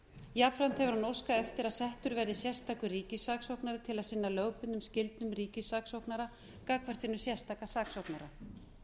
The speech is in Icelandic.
jafnframt hefur hann óskað eftir að settur verði sérstakur ríkissaksóknari til að sinna lögbundnum skyldum ríkissaksóknara gagnvart hinum sérstaka saksóknara